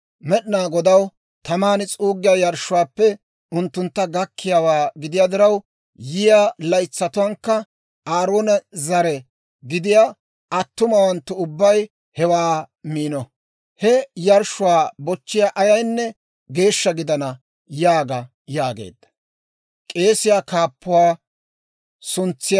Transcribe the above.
Med'inaa Godaw taman s'uuggiyaa yarshshuwaappe unttuntta gakkiyaawaa gidiyaa diraw, yiyaa laytsatuwaankka Aaroona zare gidiyaa attumawanttu ubbay hewaa miino. He yarshshuwaa bochchiyaa ayaynne geeshsha gidana› yaaga» yaageedda.